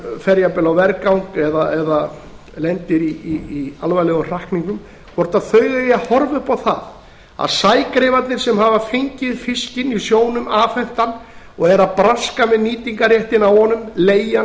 fer jafnvel á vergang eða lendir í alvarlegum hrakningum hvort þau eigi að horfa upp á það að sægreifarnir sem hafa fengið fiskinn í sjónum afhentan og eru að braska með nýtingarréttinn á honum leigja hann